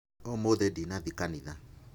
Ũmũthĩ ndinathiĩ kanitha.